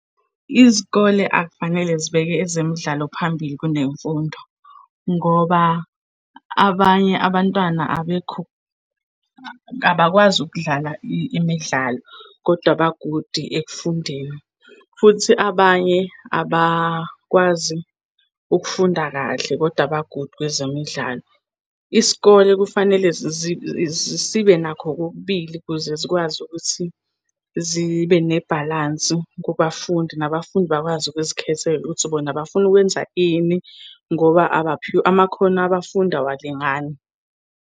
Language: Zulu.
Izikole akufanele zibeke ezemidlalo phambili kunemfundo ngoba abanye abantwana abekho, kabakwazi ukudlala imidlalo, koda ba-good ekufundeni. Futhi abanye abakwazi ukufunda kahle, koda ba-good kwezemidlalo. Isikole kufanele sibe nakho kokubili ukuze zikwazi ukuthi zibe nebhalansi kubafundi, nabafundi bakwazi ukuzikhethela ukuthi bona bafuna ukwenza ini ngoba abaphiwe, amakhono abafundi awalingani.